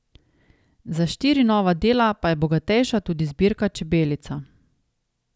Za štiri nova dela pa je bogatejša tudi zbirka Čebelica.